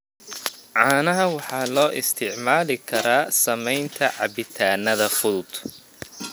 Caanaha waxaa loo isticmaali karaa samaynta cabitaannada fudud.